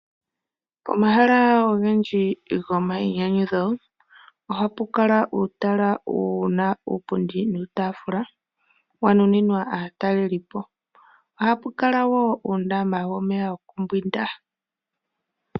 Pomahala ogendji gomainyanyudho ohapu kala uutala wu na uupundi nuutaafula wa nuninwa aatalelipo , oha pu kala wo uundama womeya wo ku mbwinda.